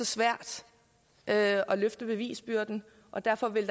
svært at løfte bevisbyrden og derfor vil